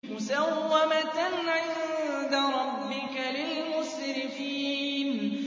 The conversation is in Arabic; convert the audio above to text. مُّسَوَّمَةً عِندَ رَبِّكَ لِلْمُسْرِفِينَ